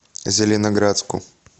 зеленоградску